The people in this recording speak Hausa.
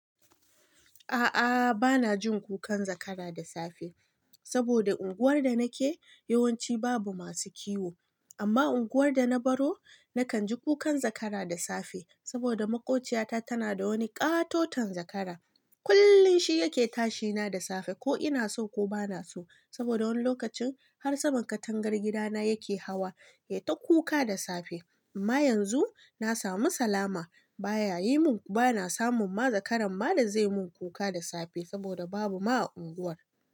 A'a bana jin kukan zakara da safe saboda unguwar da nake yawanci babu masu kiwo. Amma unguwar da na baro nakan ji kukan zakara da safe saboda maƙociyata tana da wani ƙatoton zakara. Kullum shi yake tashi na da safe ko ina so ko bana so. Saboda wani lokacin har saman katangar gidana yake hawa ya ta kuka da safe. Amma yanzu na samu salama. Ba na samun ma zakaran ba da zai mun kuka da safe saboda babu ma a unguwar.